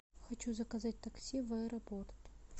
хочу заказать такси в аэропорт